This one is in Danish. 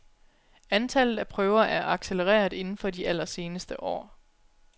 Antallet af prøver er accelereret indenfor de allerseneste år.